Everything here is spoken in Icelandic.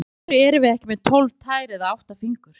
Af hverju erum við ekki með tólf tær eða átta fingur?